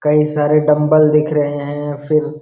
कई सारे डम्बल दिख रहे हैं फिर --